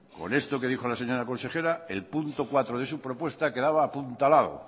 con esto que dijo la señora consejera el punto cuatro de su propuesta quedaba apuntalado